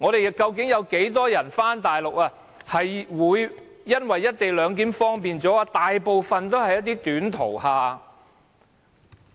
有多少返回大陸的人會因為"一地兩檢"而感到更為方便？